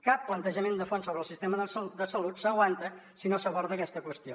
cap plantejament de fons sobre el sistema de salut s’aguanta si no s’aborda aquesta qüestió